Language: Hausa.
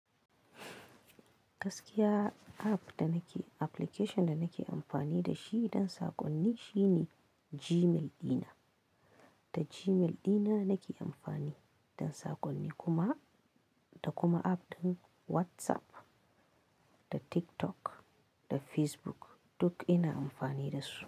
Gaskiya app da nake application da nake amfani da shi don saƙonni shine Gmail dina. Da Gmail dina nake amfani don saƙonni kuma, da kuma app ɗin WhatsApp, da TikTok, da Facebook duk ina amfani da su.